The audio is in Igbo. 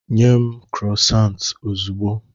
Nye m Krosant ozugbo.